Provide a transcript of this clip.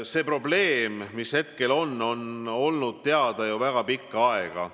See probleem, mis praegu on, on olnud teada ju väga pikka aega.